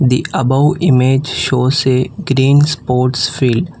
The above image shows a green sports field.